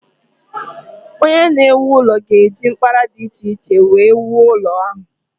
Onye na-ewu ụlọ ga-eji mkpara dị iche iche wee wuo ụlọ ahụ.